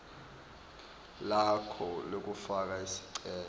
lakho lekufaka sicelo